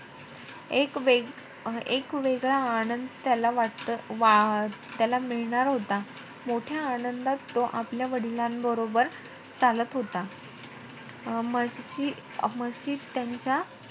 एक वेग~ एक वेगळा आनंद त्याला वाट~ त्याला मिळणार होता मोठ्या आनंदात तो आपल्या वडिलांबरोबर चालत होता. मस्जिद त्यांच्या,